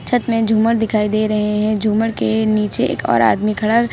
छत में झूमर दिखाई दे रहे हैं झूमर के नीचे एक और आदमी खड़ा--